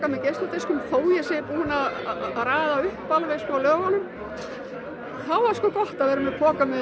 af geisladiskum þó ég sé búin að raða upp lögunum en þá var sko gott að vera með poka